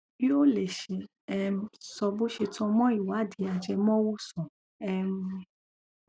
yóò lè ṣe um sọ bó ṣe tan mọ ìwádìí ajẹmọwòsàn um